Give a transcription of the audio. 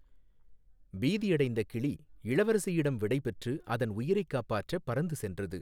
பீதியடைந்த கிளி இளவரசியிடம் விடைபெற்று அதன் உயிரைக் காப்பாற்ற பறந்து சென்றது.